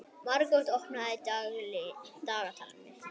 Margot, opnaðu dagatalið mitt.